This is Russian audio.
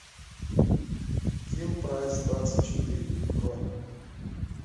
килпрайсдвадцатьчетыре бронь